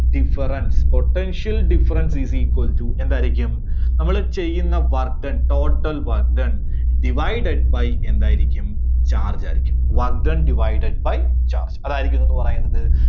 difference, Potential Difference is equal to എന്തായിരിക്കും? നമ്മള് ചെയ്യുന്ന work done, total work done divided by എന്തായിരിക്കും? charge ആയിരിക്കും. work done divided by charge അതായിരിക്കും എന്തെന്ന് പറയുന്നത്